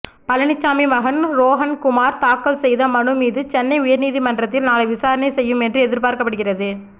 பழனிச்சாமி மகன் ரோஹன்குமார் தாக்கல் செய்த மனு மீது சென்னை உயர் நீதிமன்றத்தில் நாளை விசாரணை செய்யும் என்று எதிர்பார்க்கப்படுகிறது